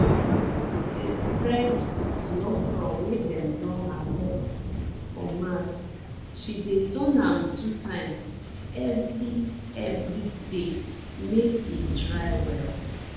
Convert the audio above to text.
mama dey spread di okro wey dem don harvest for mat she dey turn am two times every every day make e dry well